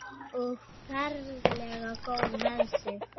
Og ferlega góð með sig.